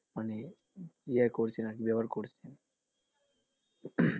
মানে ইয়ে করছে আরকি ব্যাবহার করছেন,